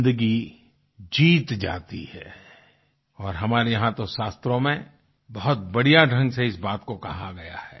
जिंदगी जीत जाती है और हमारे यहाँ तो शास्त्रों में बहुत बढ़िया ढंग से इस बात को कहा गया है